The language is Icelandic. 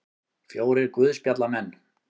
Fjórir guðspjallamenn.